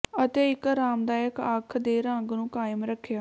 ਅਤੇ ਇੱਕ ਆਰਾਮਦਾਇਕ ਅੱਖ ਦੇ ਰੰਗ ਨੂੰ ਕਾਇਮ ਰੱਖਿਆ